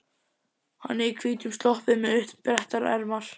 Hann er í hvítum sloppi með uppbrettar ermar.